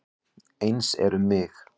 Eins er um mig.